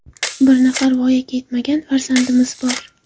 Bir nafar voyaga yetmagan farzandimiz bor.